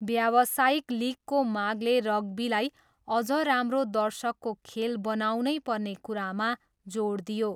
व्यावसायिक लिगको मागले रग्बीलाई अझ राम्रो 'दर्शकको' खेल बनाउनै पर्ने कुरामा जोड दियो।